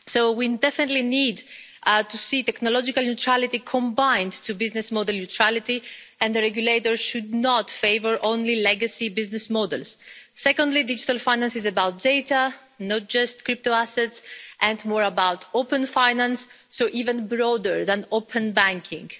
We definitely need to see technological neutrality combined with business model neutrality, and the regulator should not favour only legacy business models. Secondly, digital finance is about data, not just crypto assets, and more about open finance, so even broader than open banking.